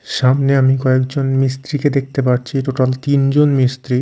সামনে আমি কয়েক জন মিস্ত্রি কে দেখতে পাচ্ছি টোটাল টিন জন মিস্ত্রি--